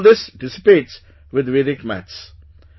So all this gets dissipates with Vedic maths